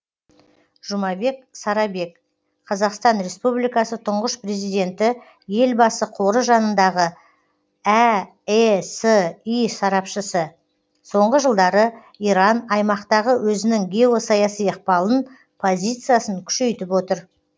жұмабек сарабек қазақстан республикасы тұңғыш президенті елбасы қоры жанындағы әэси сарапшысы соңғы жылдары иран аймақтағы өзінің геосаяси ықпалын позициясын күшейтіп отыр